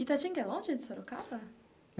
Itatinga é longe de Sorocaba?